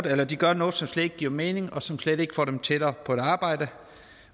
at de gør noget som slet ikke giver mening og som slet ikke for dem tættere på et arbejde